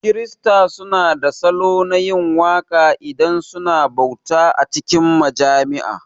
Kirista su na da salo na yin waka idan suna bauta a cikin majami'a